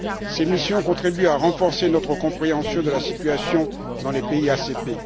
Ces missions contribuent à renforcer notre compréhension de la situation dans les pays ACP.